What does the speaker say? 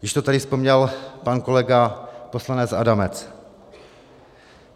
Již to tady vzpomněl pan kolega poslanec Adamec.